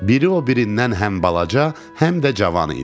Biri o birindən həm balaca, həm də cavan idi.